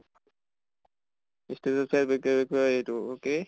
কয় এইটো কি